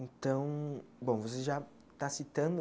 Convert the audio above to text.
Então, bom, você já está citando